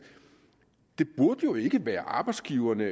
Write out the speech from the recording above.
burde jo ikke være arbejdsgiverne